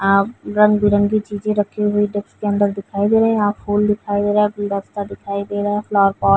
रंग बिरंगी चीजे रखी हुई डेस्क के अंदर दिखाई दे रहे हैं। यहाँ फूल दिखाई दे रहे हैं। गुलदस्ता दिखाई दे रहा है। Flower pot --